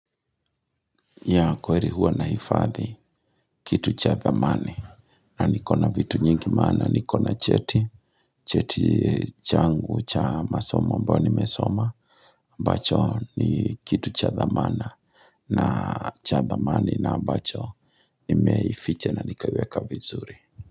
Ya kweri huwa nahifadhi kitu cha dhamani na niko na vitu nyingi maana niko na cheti cheti changu cha masoma ambao nimesoma ambacho ni kitu cha dhamana na cha dhamani na ambacho Nimeificha na nikaiweka vizuri.